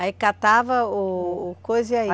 Aí catava o o coisa e aí?